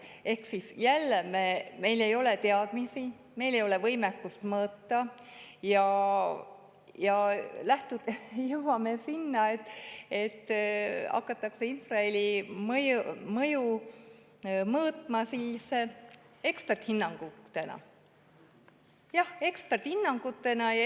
Ehk jälle, meil ei ole teadmisi, meil ei ole võimekust mõõta ja jõuame sinna, et infraheli mõju hakatakse mõõtma eksperthinnangute abil.